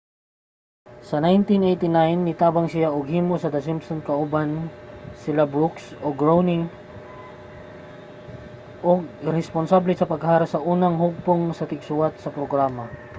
sa 1989 nitabang siya og himo sa the simpsons kauban sila brooks ug groening ug responsable sa pag-hire sa unang hugpong sa tigsuwat sa programa